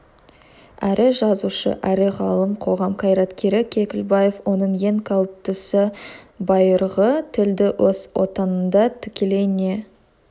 әрі жазушы әрі ғалым қоғам қайраткері кекілбаев оның ең қауіптісі байырғы тілді өз отанында тікелей не